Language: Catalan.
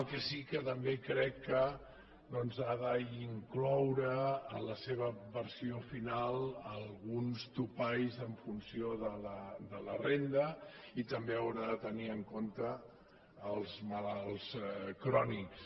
el que sí que també crec que doncs ha d’incloure en la seva versió final alguns topalls en funció de la renda i també haurà de tenir en compte els malalts crònics